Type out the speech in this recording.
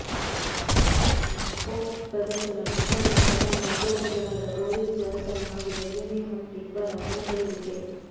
Stokes ಪ್ರದರ್ಶನ ಬ್ರಿಟನ್ನ ಪ್ರಧಾನಿ ಅಭ್ಯರ್ಥಿಗಳಾದ ಬೋರಿಸ್ ಜಾನ್ಸನ್ ಹಾಗೂ ಜೆರೆಮಿ ಹಂಟ್ ಇಬ್ಬರ ಮನ ಸೆಳೆದಿದೆ